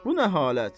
Bu nə halət?